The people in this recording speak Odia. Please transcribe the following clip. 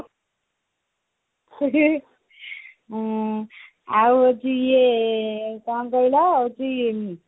ଆଉ ଆଜି ଏଇ କଣ କହିଲ ଆଜି